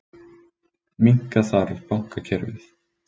Minnka þarf bankakerfið